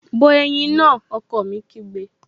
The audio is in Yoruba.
Bọ ẹ̀yin náà! Ọkọ mi kígbe